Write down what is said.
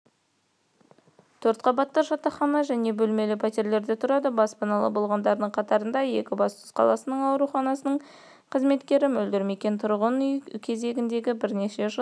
төрт қабатты жатақхана және бөлміле пәтерлерлен тұрады баспаналы болғандардың қатарында екібастұз қаласының ауруханасының қызметкері мөлдір мекен тұрғын үй кезегінде бірнеше жыл